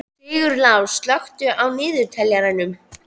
Sigurlás, slökktu á niðurteljaranum.